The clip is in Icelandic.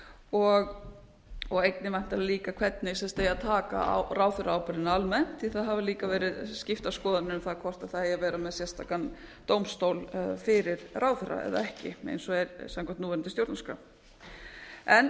og einnig væntanlega líka hvernig eigi að taka á ráðherraábyrgðinni almennt því það hafa líka verið skiptar skoðanir um það hvort það eigi að vera með sérstakan dómstól fyrir ráðherra eða ekki eins og er gagnvart núverandi stjórnarskrá lög um ráðherraábyrgð eins og þau